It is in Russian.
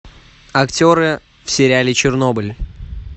актеры в сериале чернобыль